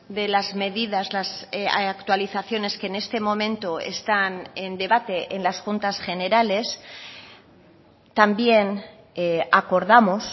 de las medidas las actualizaciones que en este momento están en debate en las juntas generales también acordamos